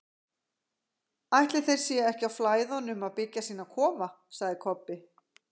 Ætli þeir séu ekki á Flæðunum að byggja sína kofa, sagði Kobbi.